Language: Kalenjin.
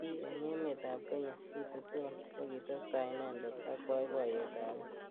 T eng emet ab kenya Suti sol kokitestai inendet ak boiboyet ab bik.